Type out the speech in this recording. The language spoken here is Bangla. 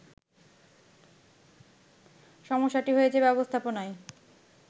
সমস্যাটি হয়েছে ব্যবস্থাপনায়